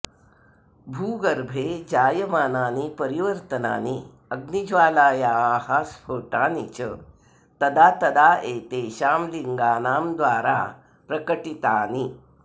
भूगर्भे जायमानानि परिवर्तनानि अग्निज्वालायाः स्फोटानि च तदा तदा एतेषां लिङ्गानां द्वारा प्रकटितानि